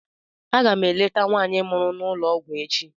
Aga m eleta nwaanyị mụrụ n'ụlọ ọgwụ echi